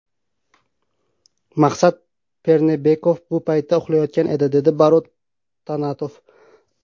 Maqsad Pernebekov bu paytda uxlayotgan edi”, dedi Barot Tanatov.